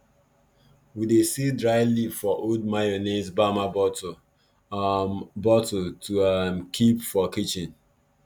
we dey seal dry leaf for old mayonnaise bamma bottle um bottle to um keep for kitchen